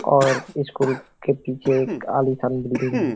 और स्कूल के पीछे एक आलीशान बिल्डिंग है।